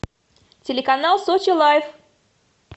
телеканал сочи лайф